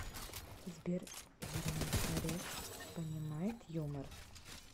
сбер герман греф понимает юмор